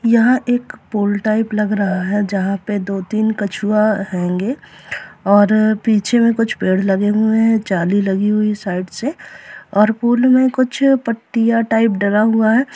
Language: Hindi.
यहाँ एक पूल टाइप लग रहा है जहाँ पे दो तीन कछुआ हेंगे और पीछे में कुछ पेड़ लगे हुए है जाली लगी हुई है साइड से और पूल में कुछ पट्टियाँ टाइप डला हुआ है।